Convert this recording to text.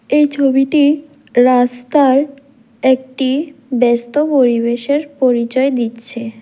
এই ছবিটি রাস্তার একটি ব্যস্ত পরিবেশের পরিচয় দিচ্ছে।